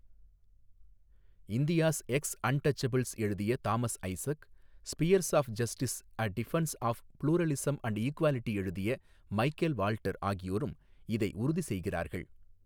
India's ex untouchables எழுதிய Thomas Isaac spheres of justice a defence of pluralism and equality எழுதிய Michael Walter ஆகியோரும் இதை உறுதி செய்கிறார்கள்.